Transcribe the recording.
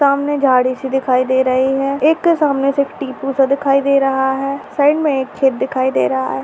समना झार जैसे दिखाई दे रही है एक सामने से टिपरी सा दिखाई दे रहा है।